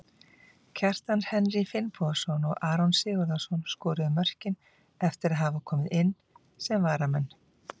Kjartan Henry Finnbogason og Aron Sigurðarson skoruðu mörkin eftir að hafa komið inn sem varamenn.